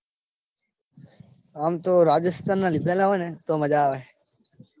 આમ તો રાજસ્થાન ના લીધેલા હોય તો મજા આવે. .